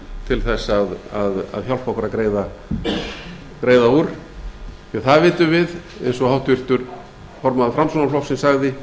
til þess að hjálpa okkur að greiða úr því að það vitum við eins og háttvirtur formaður framsóknarflokksins sagði að við